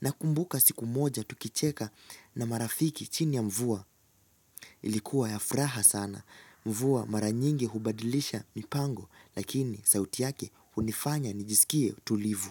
Nakumbuka siku moja tukicheka na marafiki chini ya mvua. Ilikuwa ya furaha sana. Mvua mara nyingi hubadilisha mipango lakini sauti yake hunifanya nijisikie mtulivu.